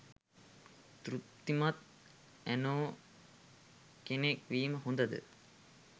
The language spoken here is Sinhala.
තෘප්තිමත් ඇනෝ කෙනෙක් වීම හොඳ ද?